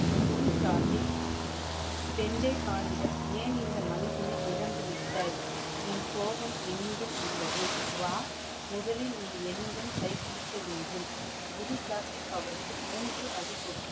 குரு சாஹிப், கெண்டேகான்னிடம் ஏன் இந்த மனிதனை இழந்துவிட்டாய். உன் கோவம் என்னுடன் உள்ளது. வா முதலில் நீ என்னுடன் கை குடுக்க வேண்டும். குரு சாஹிப் அவருக்கு மூன்று அடி கொடுத்தார்.